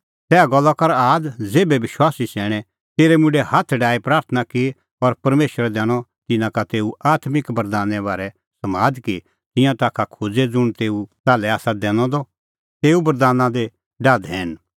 तैहा गल्ला कर आद ज़ेभै विश्वासी सैणैं तेरै मुंडै हाथ डाही प्राथणां की और परमेशरै दैनअ तिन्नां का तेऊ आत्मिक बरदाने बारै समाद कि तिंयां ताखा खोज़े ज़ुंण तेऊ ताल्है आसा दैनअ द तेऊ बरदाना दी डाह धैन